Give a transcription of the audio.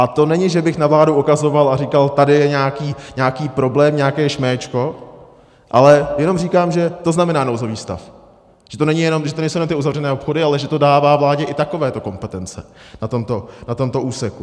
A to není, že bych na vládu ukazoval a říkal, tady je nějaký problém, nějaké šméčko, ale jenom říkám, že to znamená nouzový stav, že to nejsou jenom ty uzavřené obchody, ale že to dává vládě i takovéto kompetence na tomto úseku.